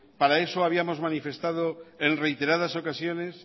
para eso habíamos manifestado en reiteradas ocasiones